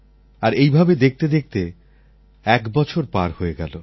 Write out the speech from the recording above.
আর এইভাবে দেখতে দেখতে একবছর পার হয়ে গেল